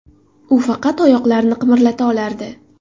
U faqat oyoqlarini qimirlata olardi.